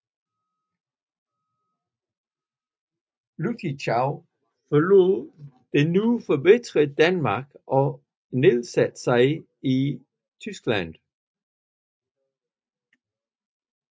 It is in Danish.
Lüttichau forlod nu forbitret Danmark og nedsatte sig i Tyskland